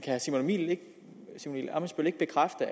herre simon emil ammitzbøll ikke bekræfte